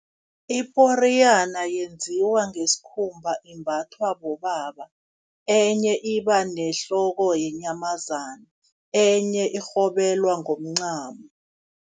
Iporiyana yenziwa ngesikhumba imbathwa bobaba, enye iba nehloko yenyamazana enye irhobelwa ngomncamo.